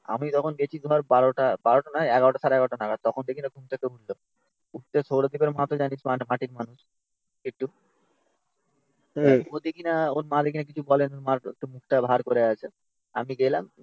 আমি তখন গেছি ধর বারোটা. বারোটা নয়. এগারোটা সাড়ে এগারোটা নাগাদ. তখন দেখি না ঘুম থেকে উঠলো. উঠতে সৌরদীপের মা তো জানিস মাটির মানুষ একটু তারপর দেখিনা ওর মা দেখিনা কিছু বলেনা ওর মার একটু মুখটা ভার করে আছে. আমি গেলাম.